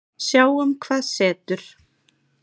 Sjáum hvað setur.